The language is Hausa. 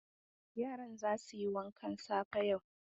Yaran za su yi wankan safe yau.